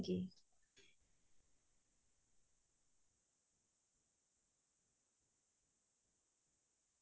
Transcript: উম বনাই তেনেকে ভাল নাপাও কিন্তু মাজে মাজে cake বনাও আৰু ইমান